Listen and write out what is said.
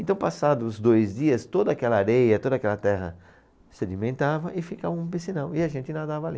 Então, passado os dois dias, toda aquela areia, toda aquela terra sedimentava e ficava um piscinão, e a gente nadava ali.